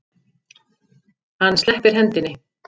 Hann sleppir hendinni.